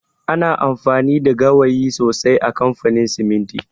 Ana amfani da gawayi sosai a kamfanin siminti